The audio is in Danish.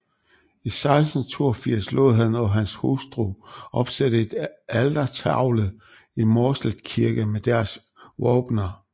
I 1682 lod han og hans hustru opsætte en altertavle i Mårslet Kirke med deres våbener